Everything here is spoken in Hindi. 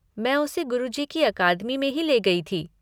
मैं उसे गुरुजी की अकादमी में ही ले गई थी।